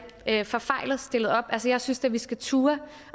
forfejlet stillet op jeg synes da vi skal turde